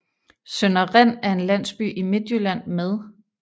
Sønder Rind er en landsby i Midtjylland med